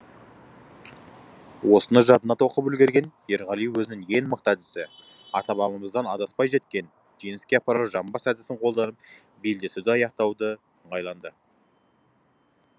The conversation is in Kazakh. осыны жадына тоқып үлгерген ерғали өзінің ең мықты әдісі ата бабамыздан адаспай жеткен жеңіске апарар жамбас әдісін қолданып белдесуді аяқтауды ыңғайланды